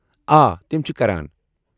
آ، تِم چھِ کران۔